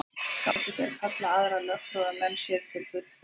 Gátu þeir kallað aðra lögfróða menn sér til fulltingis.